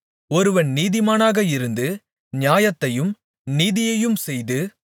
ஒருவன் நீதிமானாக இருந்து நியாயத்தையும் நீதியையும் செய்து